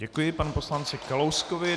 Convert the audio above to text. Děkuji panu poslanci Kalouskovi.